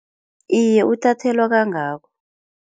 Iye uthathelwa kangako.